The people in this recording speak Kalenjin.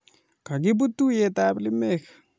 Kakiput tuiyetab lemek